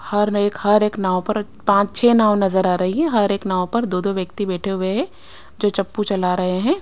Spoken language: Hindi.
हर एक हर एक नाव पर पांच छह नाव नजर आ रही है हर एक नाव पर दो दो व्यक्ति बैठे हुए हैं जो चप्पू चला रहे है।